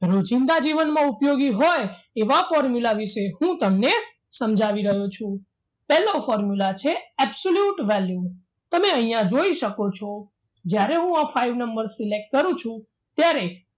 રોજિંદા જીવનમાં ઉપયોગી હોય એવા formula વિશે હું તમને સમજાવી રહ્યો છું પહેલો formula છે absolute value તમે અહીંયા જોઈ શકો છો જ્યારે હું આ five number select કરું છું ત્યારે